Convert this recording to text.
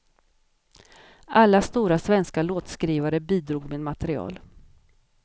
Alla stora svenska låtskrivare bidrog med material.